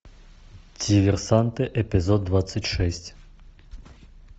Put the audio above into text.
диверсанты эпизод двадцать шесть